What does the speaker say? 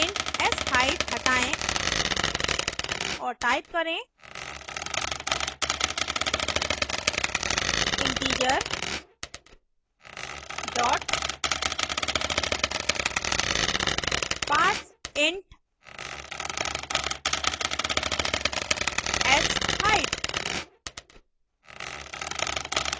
int sheight हटायें और type करें integer dot parseint sheight